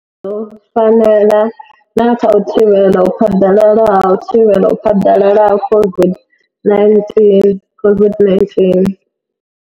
Dzo fanela na kha u thivhela u phaḓalala ha u thivhela u phaḓalala ha COVID-19 COVID-19.